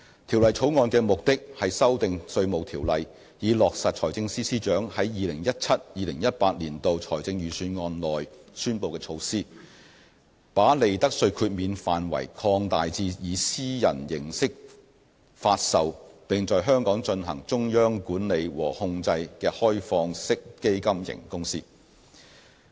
《條例草案》的目的是修訂《稅務條例》，以落實財政司司長在 2017-2018 年度財政預算案內宣布的措施，把利得稅豁免範圍擴大至以私人形式發售並在香港進行中央管理和控制的開放式基金型公司。